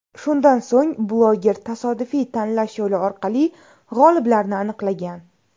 Shundan so‘ng bloger tasodifiy tanlash yo‘li orqali g‘oliblarni aniqlagan.